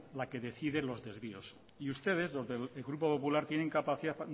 la que decide los desvíos y ustedes los de grupo popular tienen capacidad